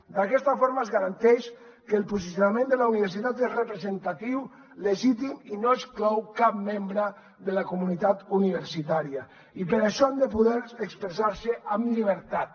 d’aquesta forma es garanteix que el posicionament de la universitat és representatiu legítim i no exclou cap membre de la comunitat universitària i per això han de poder expressar se amb llibertat